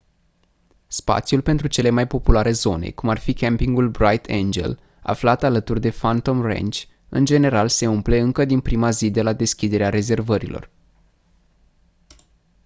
spațiul pentru cele mai populare zone cum ar fi campingul bright angel aflat alături de phantom ranch în general se umple încă din prima zi de la deschiderea rezervărilor